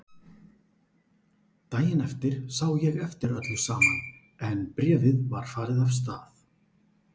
Daginn eftir sá ég eftir öllu saman en bréfið var farið af stað.